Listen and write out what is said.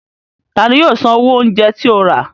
Ta ni yóò san owó oúnjẹ tí o rà?